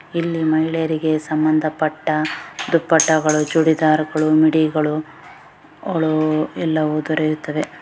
ಇಲ್ಲಿ ಮಹಿಳೆಯರಿಗೆ ಸಂಬಂಧಪಟ್ಟ ದುಪ್ಪಟಗಳು ಚುಡಿದಾರಗಳು ಮಿಡ್ಡಿಗಳು ಗಳು ಎಲ್ಲಾ ದೊರೆಯುತ್ತದೆ .